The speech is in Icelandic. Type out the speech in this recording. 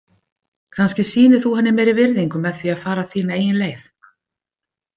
Kannski sýnir þú henni meiri virðingu með því að fara þína eigin leið.